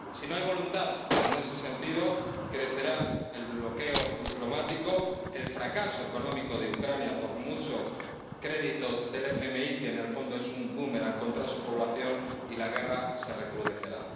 Si no hay voluntad en ese sentido, crecerá el bloqueo diplomático, el fracaso económico de Ucrania ―por mucho crédito que conceda el FMI, que en el fondo es un búmeran contra su población― y la guerra se recrudecerá.